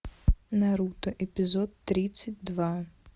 наруто эпизод тридцать два